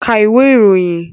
Ka ìwé ìròyìn!